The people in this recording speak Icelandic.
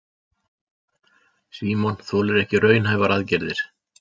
Símon þolir ekki raunhæfar aðgerðir.